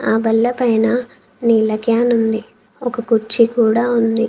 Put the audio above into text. ఆ బల్ల పైన నీళ్ళ క్యాన్ ఉంది. ఒక కుర్చీ కూడా ఉంది.